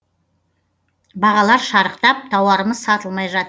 бағалар шарықтап тауарымыз сатылмай жат